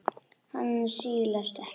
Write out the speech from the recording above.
Hann silast ekkert.